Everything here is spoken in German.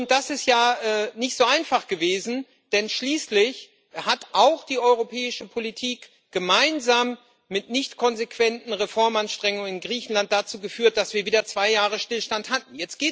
Das ist ja nicht so einfach gewesen, denn schließlich hat auch die europäische Politik gemeinsam mit nicht konsequenten Reformanstrengungen in Griechenland dazu geführt, dass wir wieder zwei Jahre Stillstand hatten.